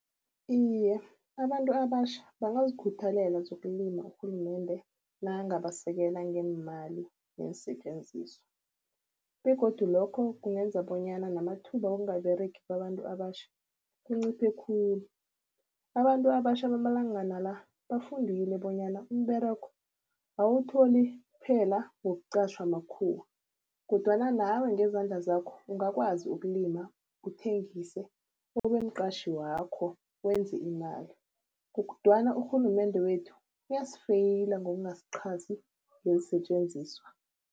Iye, abantu abatjha bangazikhuthalela zokulima urhulumende nakangabasekela ngeemali zeensetjenziswa begodu lokho kungenza bonyana namathuba wokungaberegi kwabantu abatjha kunciphe khulu. Abantu abatjha bamalangana la, bafundile bonyana umberego awuwutholi kphela ngokuqatjhwa makhuwa kodwana nawe ngezandla zakho ungakwazi ukulima, uthengise ube mqatjhi wakho wenze imali. Kodwana urhulumende wethu uyasifeyila ngokungasiqhasi ngeensetjenziswa.